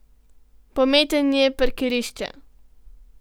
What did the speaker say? Pometanje parkirišča.